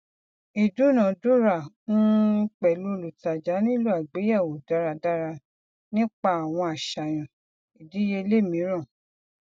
ìdúnàádúrà um pẹlú olùtajà nílò àgbéyẹwò dáradára nípa àwọn àṣàyàn ìdíyelé mìíràn